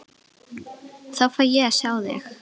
Þá fæ ég að sjá þig.